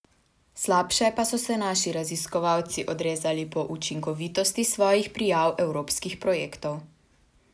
Slabše pa so se naši raziskovalci odrezali po učinkovitosti svojih prijav evropskih projektov.